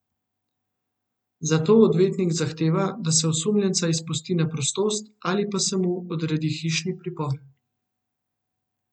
Zato odvetnik zahteva, da se osumljenca izpusti na prostost ali pa se mu odredi hišni pripor.